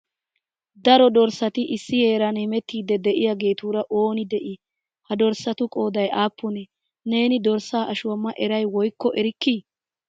Daro dorssati issi heeran heemettidi de'iyaagetura ooni de'ii? Ha dorssatu qooday aappune? Neeni dorssa ashuwa ma eray woykko erikki ?